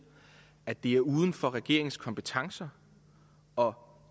at det er uden for regeringens kompetencer og